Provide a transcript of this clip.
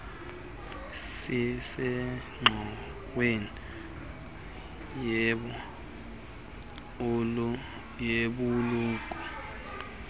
sisengxoweni yebh ulukh